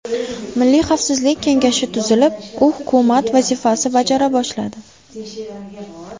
Milliy xavfsizlik kengashi tuzilib, u hukumat vazifasi bajara boshladi.